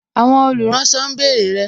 Àwọn olùránsọ ń bèrè rẹ